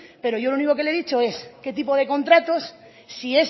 pero yo lo único que le he dicho es qué tipo de contratos si